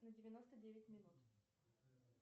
на девяносто девять минут